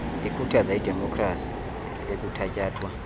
ikhuthaza idemopkhrasi ekuthatyathwa